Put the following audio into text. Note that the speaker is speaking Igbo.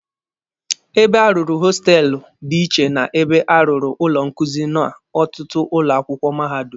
Ebe a rụrụ hostelụ dị iche na ebe a rụrụ ụlọ nkuzi n'ọtụtụ ụlọ akwụkwọ mahadum.